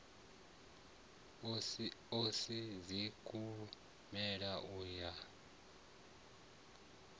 a si dzikhumbelo u ya